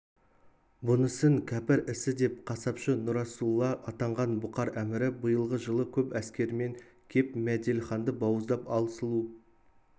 бұнысын кәпір ісі деп қасапшы нұрасулла атанған бұқар әмірі биылғы жылы көп әскерімен кеп мәделіханды бауыздап ал сұлу